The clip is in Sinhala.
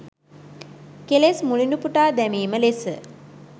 කෙලෙස් මුලිනුපුටා දැමීම ලෙස